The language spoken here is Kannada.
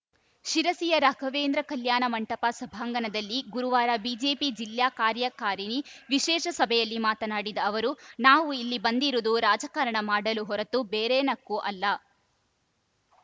ಶಿರಸಿಯ ರಾಘವೇಂದ್ರ ಕಲ್ಯಾಣ ಮಂಟಪ ಸಭಾಂಗಣದಲ್ಲಿ ಗುರುವಾರ ಬಿಜೆಪಿ ಜಿಲ್ಲಾ ಕಾರ್ಯಕಾರಿಣಿ ವಿಶೇಷ ಸಭೆಯಲ್ಲಿ ಮಾತನಾಡಿದ ಅವರು ನಾವು ಇಲ್ಲಿ ಬಂದಿರುವುದು ರಾಜಕಾರಣ ಮಾಡಲು ಹೊರತು ಬೇರೆನಕ್ಕೂ ಅಲ್ಲ